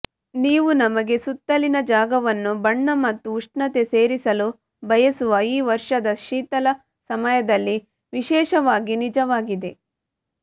ನೀವು ನಮಗೆ ಸುತ್ತಲಿನ ಜಾಗವನ್ನು ಬಣ್ಣ ಮತ್ತು ಉಷ್ಣತೆ ಸೇರಿಸಲು ಬಯಸುವ ಈ ವರ್ಷದ ಶೀತಲ ಸಮಯದಲ್ಲಿ ವಿಶೇಷವಾಗಿ ನಿಜವಾಗಿದೆ